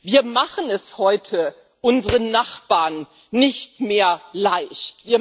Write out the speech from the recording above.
Wir machen es heute unseren Nachbarn nicht mehr leicht.